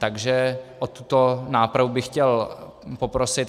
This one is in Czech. Takže o tuto nápravu bych chtěl poprosit.